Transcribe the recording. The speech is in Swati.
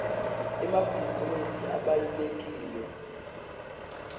emabhizinisi abalulekile